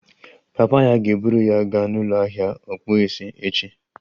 Papa ya ga-eburu ya gaa n'ụlọ ahịa ọkpụisi echi